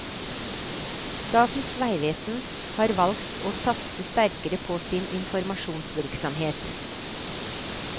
Statens vegvesen har valgt å satse sterkere på sin informasjonsvirksomhet.